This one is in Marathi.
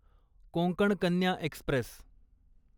कोंकण कन्या एक्स्प्रेस